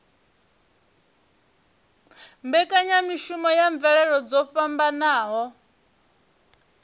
mbekanyamushumo ya mvelele dzo fhambanaho